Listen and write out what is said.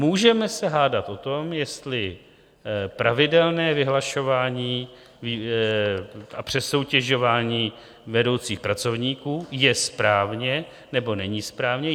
Můžeme se hádat o tom, jestli pravidelné vyhlašování a přesoutěžování vedoucích pracovníků je správně nebo není správně.